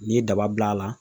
N'i ye daba bila a la